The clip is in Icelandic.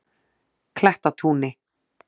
Klettatúni